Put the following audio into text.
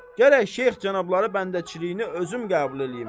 Gərək Şeyx cənabları bəndəçiliyini özüm qəbul eləyim.